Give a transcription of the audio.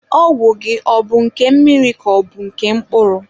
Ọgwụ gị ọ bụ nke mmiri ka ọ bụ nke mkpụrụ?